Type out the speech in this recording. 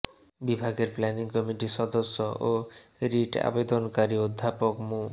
বিভাগের প্ল্যানিং কমিটির সদস্য ও রিট আবেদনকারী অধ্যাপক মু